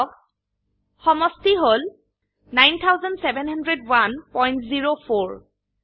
চাওক সমষ্টি হল ৯৭০১০৪